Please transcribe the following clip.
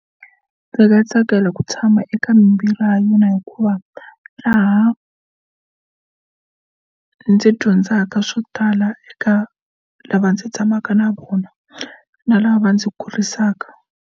Ndzi nga tsakela ku tshama eka mimbirhi ya yona hikuva laha ndzi dyondzaka swo tala eka lava ndzi tshamaka na vona na lava va ndzi kurisaka.